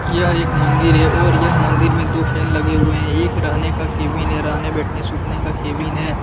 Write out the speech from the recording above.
यह एक मंदिर है और यह मंदिर में दो फैन लगे हुए हैं। एक रहने का केबिन है। रहने बैठने सुटने का केबिन है ।